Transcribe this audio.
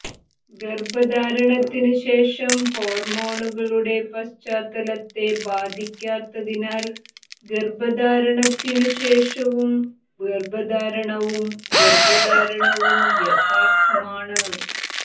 ഗർഭധാരണത്തിനു ശേഷം ഹോർമോണുകളുടെ പശ്ചാത്തലത്തെ ബാധിക്കാത്തതിനാൽ ഗർഭധാരണത്തിനു ശേഷവും ഗർഭധാരണവും ഗർഭധാരണവും യഥാർത്ഥമാണ്